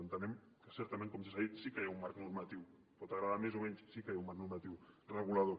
entenem que certament com ja s’ha dit sí que hi ha un marc normatiu pot agradar més o menys sí que hi ha un marc normatiu regulador